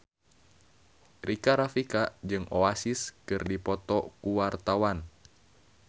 Rika Rafika jeung Oasis keur dipoto ku wartawan